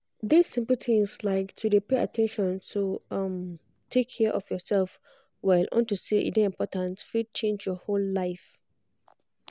this simple tins like to dey pay at ten tion to um take care of yourself well unto say e dey important fit change your whole life